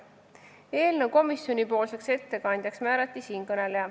Eelnõu komisjoni ettekandjaks määrati siinkõneleja.